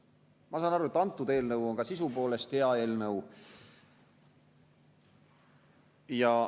Ma saan aru, et kõnealune eelnõu on ka sisu poolest hea eelnõu.